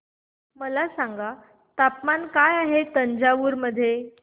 मला सांगा तापमान काय आहे तंजावूर मध्ये